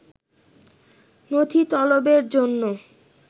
নথি তলবের জন্য